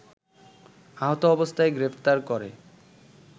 আহত অবস্থায় গ্রেফতার করে